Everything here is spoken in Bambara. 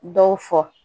Dɔw fɔ